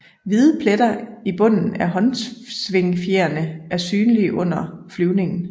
Hvide pletter i bunden af håndsvingfjerene er synlige under flyvningen